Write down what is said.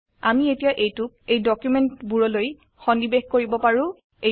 আমি এতিয়া এইটোক এই ডকুমেন্টসবোৰলৈ সন্নিবেশ কৰিব পাৰো